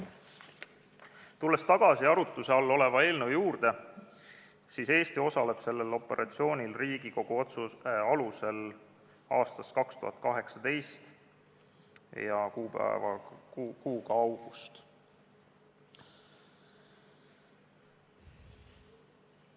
Tulles tagasi arutluse all oleva eelnõu juurde, ütlen, et Eesti osaleb sellel operatsioonil Riigikogu otsuse alusel 2018. aasta augustikuust.